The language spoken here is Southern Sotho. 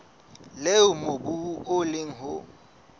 leo mobu o leng ho